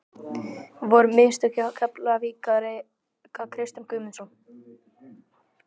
Voru mistök hjá Keflavík að reka Kristján Guðmundsson?